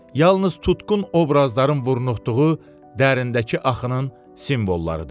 Yalnız tutqun obrazların vurnuxduğu dərinlikdəki axının simvollarıdır.